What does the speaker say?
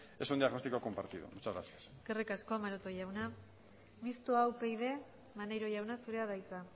es un diagnóstico compartido muchas gracias eskerrik asko maroto jauna mistoa upyd maneiro jauna zurea da hitza